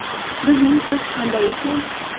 Bizning qish qanday ekan?